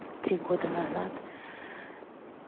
три года назад